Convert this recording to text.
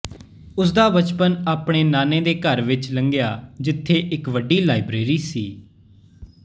ਉਸਦਾ ਬਚਪਨ ਆਪਣੇ ਨਾਨੇ ਦੇ ਘਰ ਵਿੱਚ ਲੰਘਿਆ ਜਿਥੇ ਇੱਕ ਵੱਡੀ ਲਾਇਬ੍ਰੇਰੀ ਸੀ